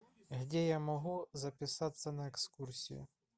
где я могу записаться на экскурсию